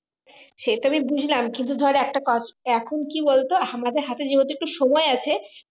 সে তো আমি বুঝলাম কিন্তু ধর এখন কি বলতো আমাদের হাতে যেহুতু একটু সময় আছে